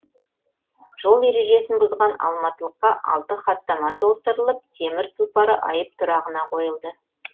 жол ережесін бұзған алматылыққа алты хаттама толтырылып темір тұлпары айып тұрағына қойылды